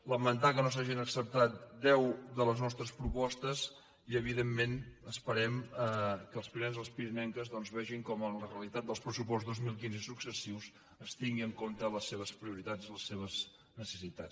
lamentar que no s’hagin acceptat deu de les nostres propostes i evidentment esperem que els pirinencs i les pirinenques doncs vegin com a la realitat del pressupost dos mil quinze i successius es tingui en compte les seves prioritats i les seves necessitats